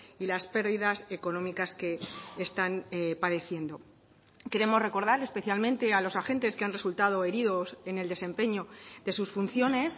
y las pérdidas económicas que están padeciendo queremos recordar especialmente a los agentes que han resultado heridos en el desempeño de sus funciones